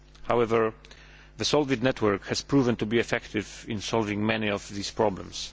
However, the Solvit network has proven to be effective in solving many of these problems.